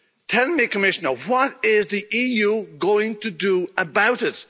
Tell me, Commissioner what is the EU going to do about